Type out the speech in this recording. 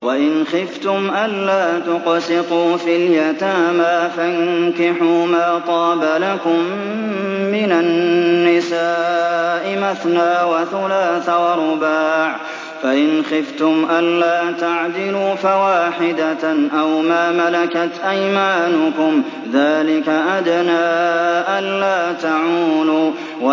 وَإِنْ خِفْتُمْ أَلَّا تُقْسِطُوا فِي الْيَتَامَىٰ فَانكِحُوا مَا طَابَ لَكُم مِّنَ النِّسَاءِ مَثْنَىٰ وَثُلَاثَ وَرُبَاعَ ۖ فَإِنْ خِفْتُمْ أَلَّا تَعْدِلُوا فَوَاحِدَةً أَوْ مَا مَلَكَتْ أَيْمَانُكُمْ ۚ ذَٰلِكَ أَدْنَىٰ أَلَّا تَعُولُوا